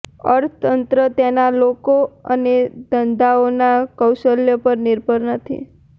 અર્થતંત્ર તેના લોકો અને ધંધાઓના કૌશલ્ય પર નિર્ભર નથી